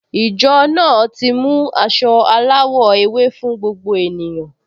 Ìjọ náà ti mú aṣọ aláwọ̀ ewé fún gbogbo ènìyàn